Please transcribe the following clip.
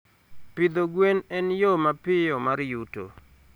Pidho gwwen en yoo mapiyo mar yuto